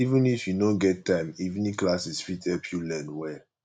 even if you no get time evening classes fit help you learn well